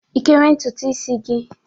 Ị kere ntutu isi gị?